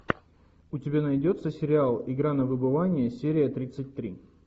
у тебя найдется сериал игра на выбывание серия тридцать три